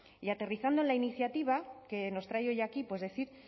y aterrizando en la iniciativa que nos trae hoy aquí pues decir